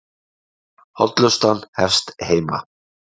Hollustan hefst heima